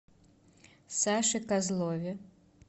саше козлове